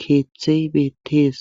keeththey beettees.